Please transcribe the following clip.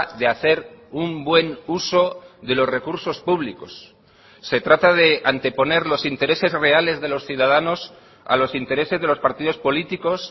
de hacer un buen uso de los recursos públicos se trata de anteponer los intereses reales de los ciudadanos a los intereses de los partidos políticos